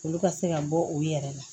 Olu ka se ka bɔ u yɛrɛ la